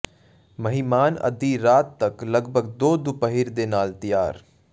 ਮਹਿਮਾਨ ਅੱਧੀ ਰਾਤ ਤੱਕ ਲਗਭਗ ਦੋ ਦੁਪਹਿਰ ਦੇ ਨਾਲ ਤਿਆਰ